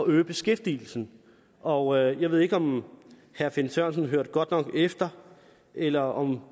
øge beskæftigelsen og jeg ved ikke om herre finn sørensen hørte godt nok efter eller om